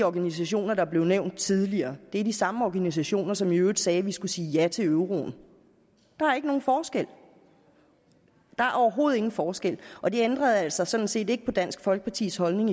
organisationer der blev nævnt tidligere er de samme organisationer som i øvrigt sagde at vi skulle sige ja til euroen der er ikke nogen forskel der er overhovedet ingen forskel og det ændrede altså sådan set ikke på dansk folkepartis holdning